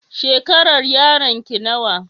Shekarar yaron ki nawa?